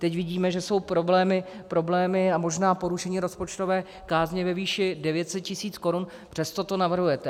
Teď vidíme, že jsou problémy a možná porušení rozpočtové kázně ve výši 900 tis. korun, přesto to navrhujete.